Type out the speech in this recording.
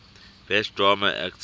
best drama actor